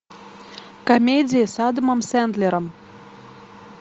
комедия с адамом сендлером